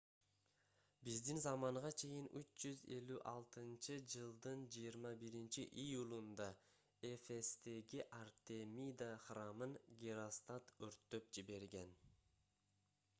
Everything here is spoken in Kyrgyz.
биздин заманга чейин 356-жылдын 21-июлунда эфестеги артемида храмын геростат өрттөп жиберген